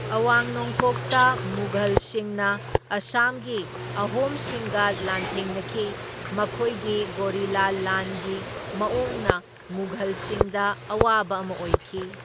ꯑꯋꯥꯡ ꯅꯣꯡꯄꯣꯛꯇ ꯃꯨꯘꯜꯁꯤꯡꯅ ꯑꯁꯥꯝꯒꯤ ꯑꯍꯣꯝꯁꯤꯡꯒ ꯂꯥꯟꯊꯦꯡꯅꯈꯤ, ꯃꯈꯣꯏꯒꯤ ꯒꯣꯔꯤꯂꯥ ꯂꯥꯟꯒꯤ ꯃꯑꯣꯡꯅ ꯃꯨꯘꯜꯁꯤꯡꯗ ꯑꯋꯥꯕ ꯑꯃ ꯑꯣꯏꯈꯤ꯫